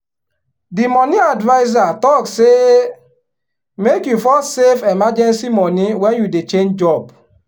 the money adviser talk say make you first save emergency money when you dey change job.